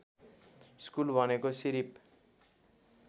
school भनेको सिरिप